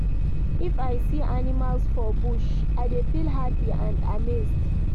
If I see animals for bush, I dey feel hapi and amazed.